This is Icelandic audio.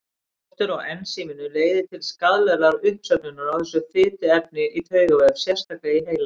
Skortur á ensíminu leiðir til skaðlegrar uppsöfnunar á þessu fituefni í taugavef, sérstaklega í heila.